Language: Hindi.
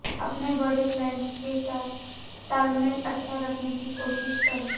अपने बड़े क्लाइंट्स के साथ तालमेल अच्छा रखने की कोशिश करें